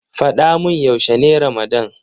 Faɗa mun yaushe ne ramadan.